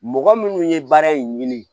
Mɔgɔ minnu ye baara in ɲini